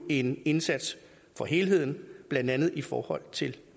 en indsats for helheden blandt andet i forhold til